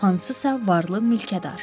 Hansısa varlı mülkədar.